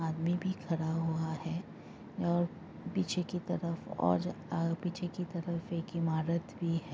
आदमी भी खड़ा हुआ है और पीछे की तरफ और अ पीछे की तरफ एक ईमारत भी है।